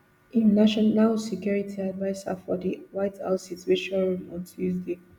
im national security advisers for di white house situation room on tuesday